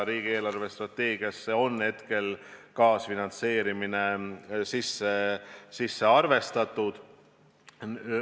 Riigi eelarvestrateegiasse on kaasfinantseerimine hetkel sisse arvestatud.